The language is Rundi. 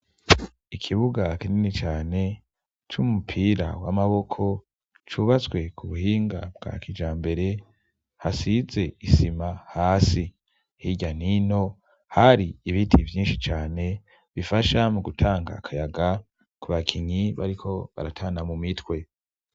Ikibuga kinini cane cy'umupira w'amaboko cubatswe ku buhinga bwa kija mbere hasize isima hasi higanino hari ibiti byinshi cyane bifasha mu gutanga akayaga ku bakinyi bariko baratana mu mitwe.